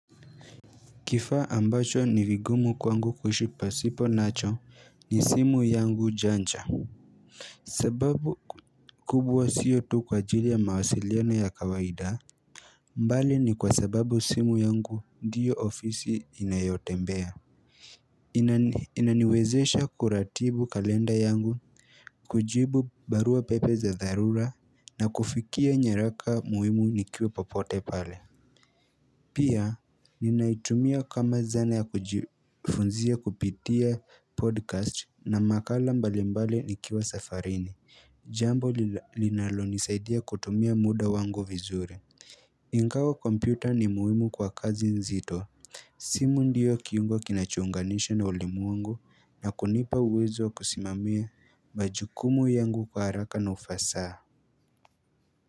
Kifaa ambacho ni vingumu kwangu kuishi pasipo nacho ni simu yangu jancha. Sababu kubwa sio tu kwa ajili ya mawasiliano ya kawaida. Mbali ni kwa sababu simu yangu ndio ofisi nayotembea. Inaniwezesha kuratibu kalenda yangu, kujibu barua pepe za dharura na kufikia nyaraka muhimu nikiwa popote pale. Pia, ninaitumia kama zana ya kujifunzia kupitia podcast na makala mbalimbali nikiwa safarini, jambo linalonisaidia kutumia muda wangu vizuri Ingawa kompyuta ni muhimu kwa kazi nzito simu ndio kiungo kinachounganishwa na ulimwengu na kunipa uwezo kusimamia majukumu yangu kwa haraka na ufasaha.